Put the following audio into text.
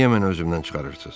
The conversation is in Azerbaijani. Niyə mənə özümdən çıxarırsınız?